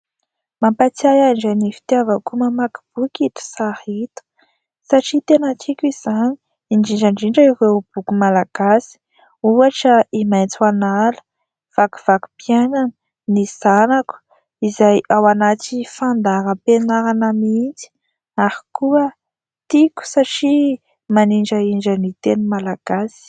Mampahatsiahy ahy indray ny fitiavako mamaky boky ito sary ito satria tena tiako izany. Indrindra indrindra ireo boky malagasy. Ohatra : i Maitso an'ala, vakivakim-piainana, ny zanako izay ao anaty fandaharam-pianarana mihitsy ; ary koa tiako satria manindrahindra ny teny malagasy.